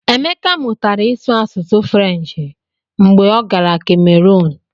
Emeka mụtara ịsụ asụsụ Frenshi mgbe ọ gara Kemerun.